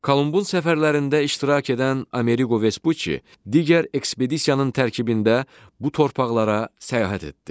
Kolumbun səfərlərində iştirak edən Ameriqo Vespucci digər ekspedisiyanın tərkibində bu torpaqlara səyahət etdi.